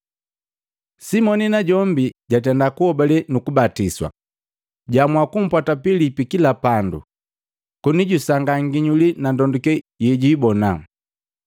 Simoni najombi jatenda kuhobale nuku batiswa. Jaamua kumpwata Pilipi kila pandu, koni jusangaa nginyuli na ndonduke yejuibona.